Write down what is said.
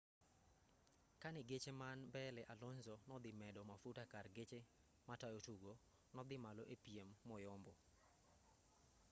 kane geche man mbele alonso nodhi medo mafuta kar geche matayo tugo nodhi malo epiem moyombo